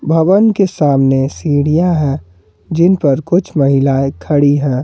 भवन के सामने सीढ़ियां हैं जिन पर कुछ महिलाएं खड़ी हैं।